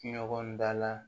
Ɲɔgɔn da la